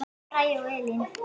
Bragi og Elín.